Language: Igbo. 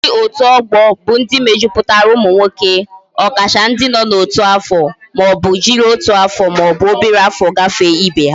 Ndi otu ogbo bu ndi mejuputara umu nwoke, okacha ndi no na otu afo ma obu jiri otu aro ma obu obere afo gafe Ibe ha